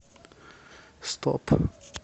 стоп